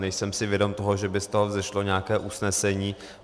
Nejsem si vědom toho, že by z toho vzešlo nějaké usnesení.